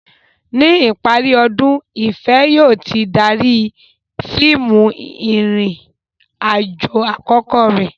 Ní ìparí ọdún, Ìfẹ̀ yóò ti darí fíìmù ìrìn-àjò àkọ́kọ́ rẹ̀.